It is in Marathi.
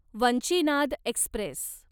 वंचिनाद एक्स्प्रेस